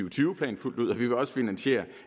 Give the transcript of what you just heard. og tyve plan fuldt ud og vi vil også finansiere